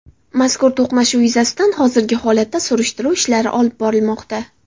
Mazkur to‘qnashuv yuzasidan hozirgi vaqtda surishtiruv ishlari olib borilmoqda.